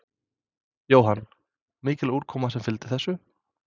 Jóhann: Mikil úrkoma sem að fylgir þessu?